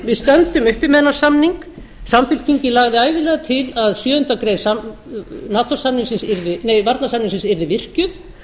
við stöndum uppi með þennan samning samfylkingin lagði ævinlega til að sjöundu grein varnarsamningsins yrði virkjuð